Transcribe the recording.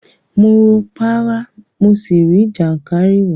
Mo wo párá, mo sì rí jàǹkáríwòọ́.